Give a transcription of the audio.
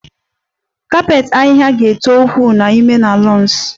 Kapet ahịhịa ga-eto ukwuu n'ime na lawns